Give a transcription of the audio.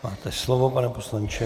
Máte slovo, pane poslanče.